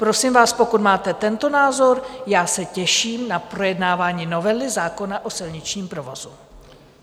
Prosím vás, pokud máte tento názor, já se těším na projednávání novely zákona o silničním provozu.